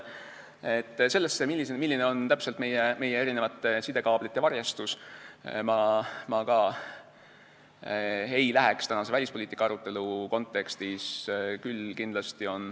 Ka sellesse teemasse, milline on täpselt meie sidekaablite varjestus, ma tänase välispoliitika arutelu kontekstis ei süveneks.